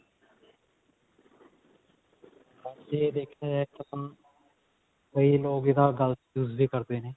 ਬਸ ਇਹ ਦੇਖਿਆ ਜਾਏ ਤਾਂ ਕਈ ਲੋਕ ਇਹਦਾ ਗਲਤ use ਵੀ ਕਰਦੇ ਨੇ